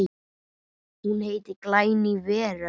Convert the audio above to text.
Hún heitir Glæný veröld.